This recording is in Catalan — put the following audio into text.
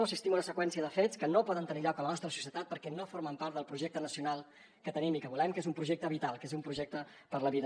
assistim a una seqüència de fets que no poden tenir lloc a la nostra societat perquè no formen part del projecte nacional que tenim i que volem que és un projecte vital que és un projecte per a la vida